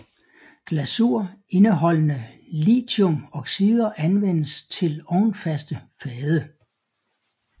Glasur indeholdende lithiumoxider anvendes til ovnfaste fade